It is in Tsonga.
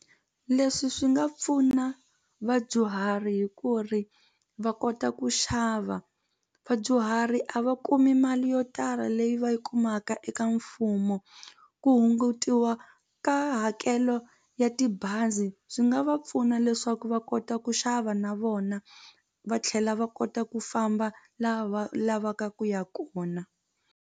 Leswi swi nga pfuna vadyuhari hi ku ri va kota ku xava vadyuhari a va kumi mali yo tala leyi va yi kumaka eka mfumo ku hungutiwa ka hakelo ya tibazi swi nga va pfuna leswaku va kota ku xava na vona va tlhela va kota ku famba laha va lavaka ku ya kona.